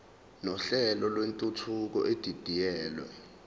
nohlelo lwentuthuko edidiyelwe